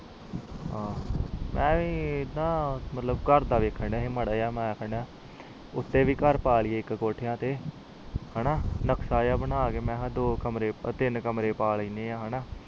ਆਹੋ ਐਵੇ ਏ ਨਾ ਘਰਦਾ ਵੇਖਣ ਦਾ ਸੀ ਥੋੜ੍ਹਾ ਕਿ ਉਤੇ ਵੀ ਘਰ ਪਾ ਲੀਯੇ ਇਕ ਕੋਠਾ ਤੇ ਚੋਂਕ ਜਾ ਬਣਾ ਕੇ ਦੋ ਟੀਨ ਕਮਰੇ ਉਪਰ ਪਾ ਲਿੰਦੇ ਆ